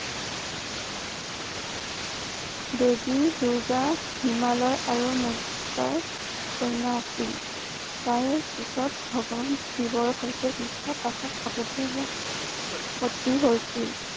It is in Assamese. দেৱী দুৰ্গা হিমালয় আৰু কন্যা আছিল তাৰ পিছত ভগৱান শিৱৰ হৈতে বিবাহ পাশত আবদ্ধ হোৱা পতি হৈছিল।